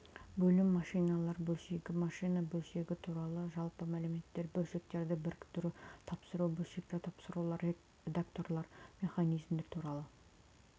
бөлім машиналар бөлшегі машина бөлшегі туралы жалпы мәліметтер бөлшектерді біріктіру тапсыру бөлшектері тапсырулар редукторлар механизмдер туралы